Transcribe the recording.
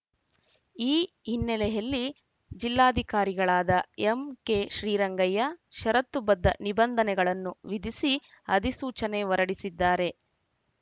ಈ ಹಿನ್ನೆಲೆಯಲ್ಲಿ ಜಿಲ್ಲಾಧಿಕಾರಿಗಳಾದ ಎಂಕೆಶ್ರೀರಂಗಯ್ಯ ಶರತ್ತು ಬದ್ಧ ನಿಬಂಧನೆಗಳನ್ನು ವಿಧಿಸಿ ಅಧಿಸೂಚನೆ ಹೊರಡಿಸಿದ್ದಾರೆ